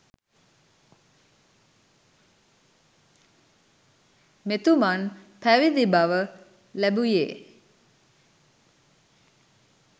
මෙතුමන් පැවිදි බව ලැබුයේ